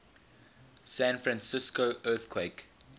san francisco earthquake